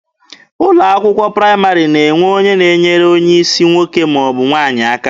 Ụlọ akwụkwọ praịmarị na-enwe onye na-enyere onye isi nwoke ma ọ bụ nwaanyị aka.